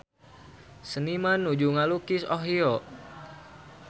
Seniman nuju ngalukis Ohio